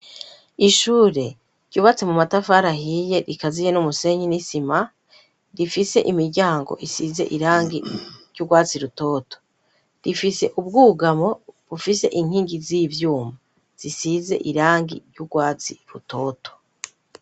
Ishure ryubatse mu matafari ahiye rikaziye n'umusenyi n'isima rifise imiryango isize irangi ry'urwatsi rutoto rifise ubwugamo bufise inkingi z'ivyuma zisize irangi ry'urwatsi rutoto.